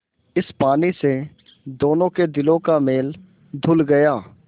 इस पानी से दोनों के दिलों का मैल धुल गया